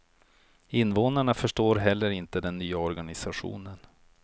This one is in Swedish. Invånarna förstår heller inte den nya organisationen.